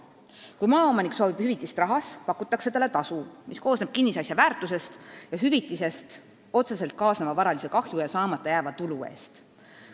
Kui maaomanik soovib hüvitist rahas, pakutakse talle tasu, mis koosneb kinnisasja väärtusest ja hüvitisest otseselt kaasneva varalise kahju ja saamata jääva tulu eest.